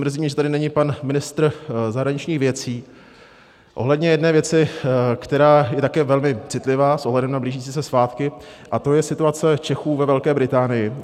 Mrzí mě, že tady není pan ministr zahraničních věcí, ohledně jedné věci, která je také velmi citlivá s ohledem na blížící se svátky, a to je situace Čechů ve Velké Británii.